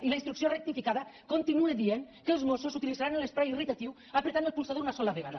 i la instrucció rectificada continua dient que els mossos utilitzaran l’esprai irritant prement el polsador una sola vegada